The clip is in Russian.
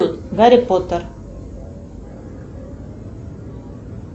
гарри поттер